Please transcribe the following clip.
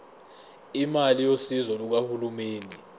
imali yosizo lukahulumeni